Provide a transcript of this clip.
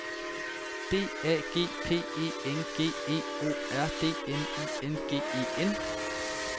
D A G P E N G E O R D N I N G E N